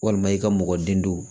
Walima i ka mɔgɔ den don